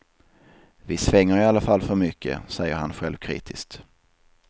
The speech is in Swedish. Vi svänger i alla fall för mycket, säger han självkritiskt.